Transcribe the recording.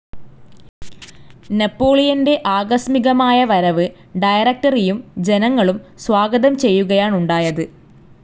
നെപോളിയന്റെ ആകസ്മികമായ വരവ് ഡയറക്റ്ററിയും ജനങ്ങളും സ്വാഗതം ചെയ്യുകയാണുണ്ടായത്,,.